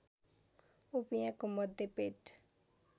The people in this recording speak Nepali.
उपियाँको मध्य पेट